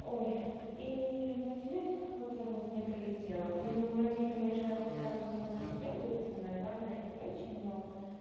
ой и в ответ вот это вот мне прилетела но многие конечно написали что мы подождём дети самое главное и прочее но